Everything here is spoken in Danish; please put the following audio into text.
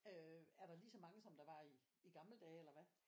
Øh er der lige så mange som det var i i gamle dage eller hvad?